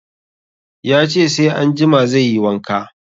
Ya ce sai anjima zai yi wanka